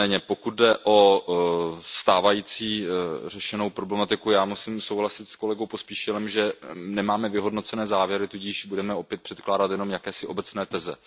Pokud jde o stávající řešenou problematiku, já musím souhlasit s kolegou Pospíšilem, že nemáme vyhodnocené závěry, tudíž budeme opět předkládat jen obecné teze.